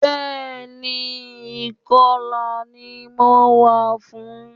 Bẹ́ẹ̀ni, ìkọlà ni mo wá fún